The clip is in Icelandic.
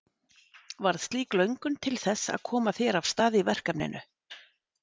Varð slík löngun til þess að koma þér af stað í verkefninu?